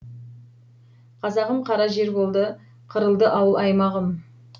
қазағым қара жер болды қырылды ауыл аймағым